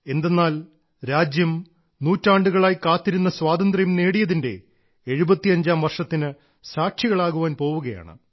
എന്തെന്നാൽ രാജ്യം നൂറ്റാണ്ടുകളായി കാത്തിരുന്ന സ്വാതന്ത്ര്യം നേടിയതിന്റെ എഴുപത്തിയഞ്ചാം വർഷത്തിന് സാക്ഷികളാകുവാൻ പോവുകയാണ്